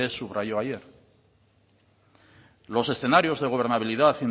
subrayó ayer los escenarios de gobernabilidad